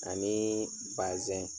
Anii bazɛn.